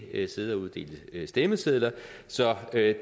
ikke sidde og uddele stemmesedler så det